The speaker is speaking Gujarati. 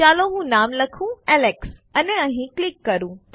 ચાલો હું નામ લખું એલેક્સ અને અહીં ક્લિક કરું